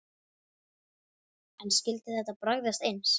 En skyldi þetta bragðast eins?